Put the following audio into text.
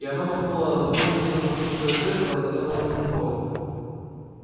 и она махнула рукой не то на тусклое зеркало не то на мокрый пол